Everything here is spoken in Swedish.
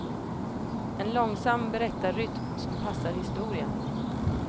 En långsam berättarrytm som passar historien.